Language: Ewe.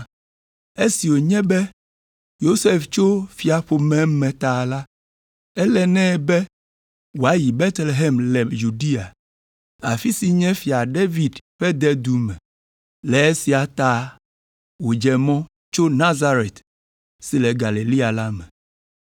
Esi wònye be Yosef tso fiaƒome me ta la, ele nɛ be wòayi Betlehem le Yudea, afi si nye Fia David ƒe dedu me. Le esia ta wòdze mɔ tso Nazaret si le Galilea la me.